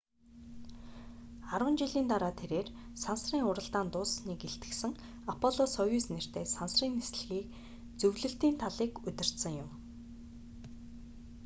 арван жилийн дараа тэрээр сансрын уралдаан дууссаныг илтгэсэн аполло-союз нэртэй сансрын нислэгийн зөвлөлтийн талыг удирдсан юм